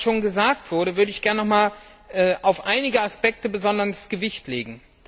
Neben dem, was schon gesagt wurde, würde ich gerne noch einmal auf einige Aspekte besonderes Gewicht legen.